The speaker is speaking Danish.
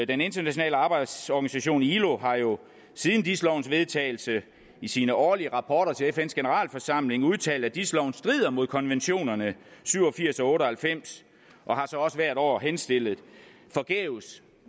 den internationale arbejdsorganisation ilo har jo siden dis lovens vedtagelse i sine årlige rapporter til fns generalforsamling udtalt at dis loven strider mod konventionerne syv og firs og otte og halvfems og har så også hvert år henstillet forgæves